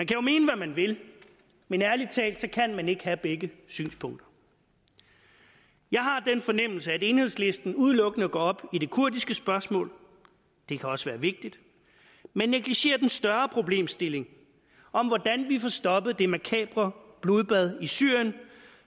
jo mene hvad man vil men ærlig talt kan man ikke have begge synspunkter jeg har den fornemmelse at enhedslisten udelukkende går op i det kurdiske spørgsmål det kan også være vigtigt men negligerer den større problemstilling om hvordan vi får stoppet det makabre blodbad i syrien